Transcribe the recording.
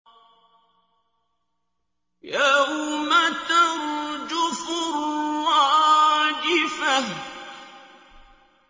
يَوْمَ تَرْجُفُ الرَّاجِفَةُ